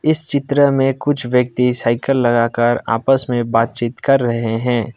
इस चित्र में कुछ व्यक्ति साइकिल लगाकर आपस में बातचीत कर रहे हैं।